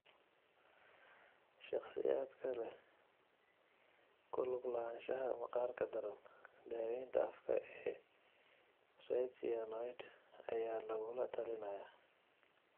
Shakhsiyaadka leh ku lug lahaanshaha maqaarka daran, daawaynta afka ee retinoid ayaa lagula talinayaa.